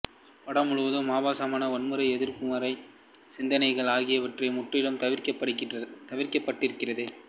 படம் முழுவதும் ஆபாசம் வன்முறை எதிர்மறை சிந்தனைகள் ஆகியவற்றை முற்றிலும் தவிர்க்கப்பட்டிருக்கிறது